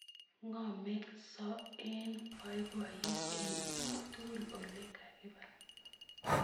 Komeng'so eng' poipoyet eng' ui tukul ole koba